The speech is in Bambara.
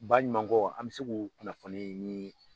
Baɲumankɔw an bɛ se k'u kunnafoni ni